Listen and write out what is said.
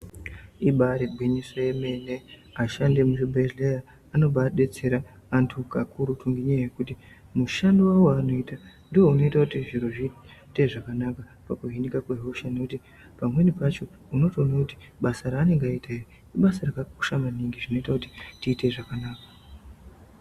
Ibari gwinyiso yemene, ashandi vemuzvibhedhleya anobadetsera vantu kakururu nenyaya yekuti mushando wawo waanoita ndounoita kuti zviro zviite zvakanaka pakuhinika kwehosha ngekuti pamweni pacho unotoono kuti basa raanenge aita iri ibasa rakakosha maningi zvinoita kuti tiite zvakanaka.